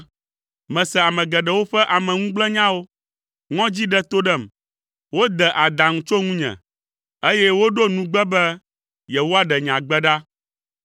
Mese ame geɖewo ƒe ameŋugblẽnyawo; ŋɔdzi ɖe to ɖem, wode adaŋu tso ŋunye, eye woɖo nugbe be yewoaɖe nye agbe ɖa.